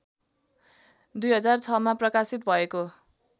२००६मा प्रकाशित भएको